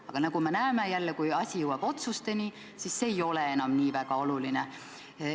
Aga nagu me näeme, kui asi jõuab otsusteni, siis ei ole see enam nii väga oluline.